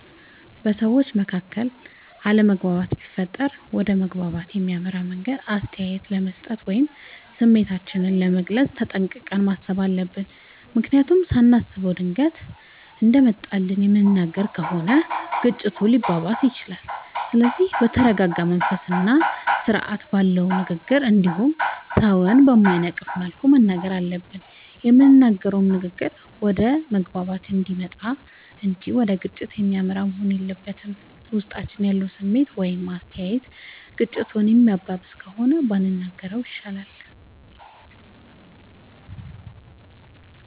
በሠዎች መካከል አለመግባባት ቢፈጠር ወደ መግባባት በሚያመራ መንገድ አስተያየት ለመስጠት ወይም ስሜታችንን ለመግለፅ ተጠንቅቀን ማሠብ አለብ። ምክንያቱም ሳናስበው ድንገት እንደመጣልን የምንናገር ከሆነ ግጭቱ ሊባባስም ይችላል። ስለዚህ በተረረጋ መንፈስና ስርአት ባለው ንግግር እንዲሁም ሠውን በማይነቅፍ መልኩ መናገር አለብን። የምንናገረውም ንግግር ወደ መግባባት የሚያመጣ እንጂ ወደ ግጭት የሚመራ መሆን የለበትም። ውስጣችን ያለው ስሜት ወይም አስተያየት ግጭቱን የሚያባብስ ከሆነ ባንናገረው ይሻላል።